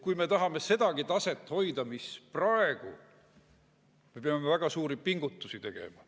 Kui me tahame sedagi taset hoida, mis praegu on, me peame väga suuri pingutusi tegema.